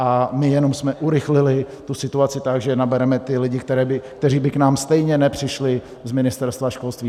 A my jsme jenom urychlili tu situaci tak, že nabereme ty lidi, kteří by k nám stejně nepřišli z Ministerstva školství.